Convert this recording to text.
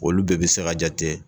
Olu bɛɛ bɛ se ka jate